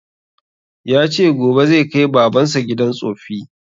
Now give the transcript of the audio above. Ya ce gobe zai kai baban sa gidan tsoffi